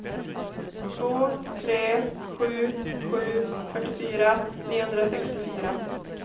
två tre sju sju fyrtiofyra niohundrasextiofyra